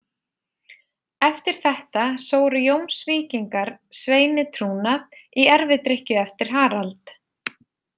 Eftir þetta sóru Jómsvíkingar Sveini trúnað í erfidrykkju eftir Harald.